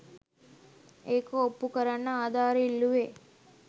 ඒක ඔප්පුකරන්න ආධාර ඉල්ලුවෙ